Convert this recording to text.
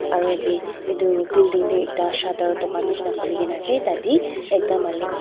aru yate edu building ekta shutter dukan nishina khuli na ase tatae ekta malik.